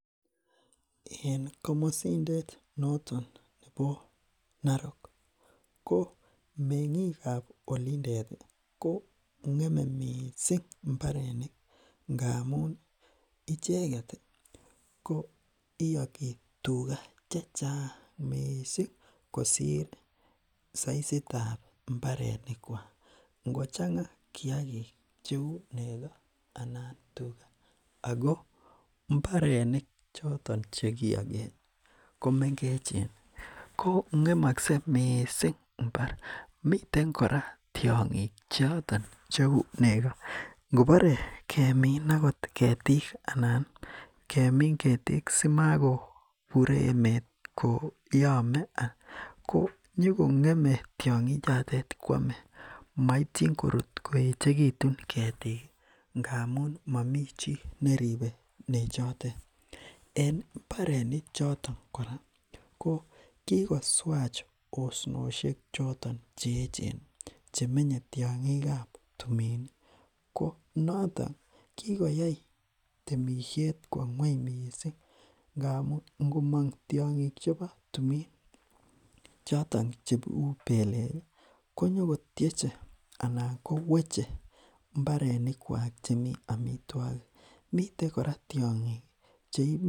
en komosindet noton nebo Narok ko menging kab olindeti kongeme mising mbarenik ngap icheket koyoki tuga chechang mising kosir soisitab mbarenikwak ngochanga kiagik cheu nego anan tuga ako mbarenik choto chekiyoken ko mengechen ko ngemokse mising mbar miten kora tiongik choton cheu nego nkebore kemin akot ketik anan kemin ketik simokobure emet koyomee konyokngemee tiongi kwomee moityin korut kooechekitun ketik ngamun momi chi neripe nechotet en mbareni choton kora kokikoswach osnoshek choton cheechen chemenye tiongikab timini konotok kigoyai temishet kwo ngweny mising ngamun ngomok tiongik chebo tumin choton cheu peleki konyokotieche anan koweche mbarenikwak chemi amitwogik miten kora tiongik cheibu